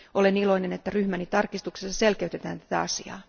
Olen iloinen, että ryhmäni tarkistuksessa selkeytetään tätä asiaa.